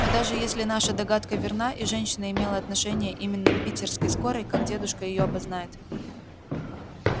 но даже если наша догадка верна и женщина имела отношение именно к питерской скорой как дедушка её опознает